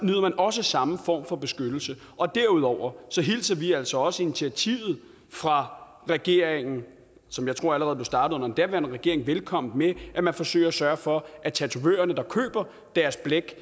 også samme form for beskyttelse derudover hilser vi altså også initiativet fra regeringen som jeg tror blev startet den daværende regering velkommen med at man forsøger at sørge for at tatovørerne der køber deres blæk